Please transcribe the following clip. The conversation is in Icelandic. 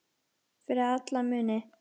Fyrir alla muni.